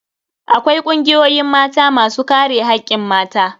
Akwai kungiyoyin Mata masu kare hakkin mata.